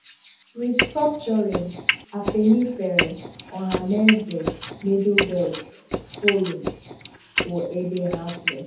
Restructuring: Afenifere, Ohaneze, Middle Belt Forum kwụ ebe ha kwụ